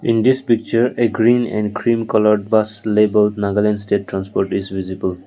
in this picture a green and green colored bus labour nagaland state transport is visible.